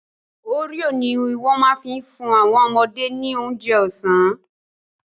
Oreo ni wọ́n ma fi fún àwọn ọmọdé ní oúnjẹ ọ̀sán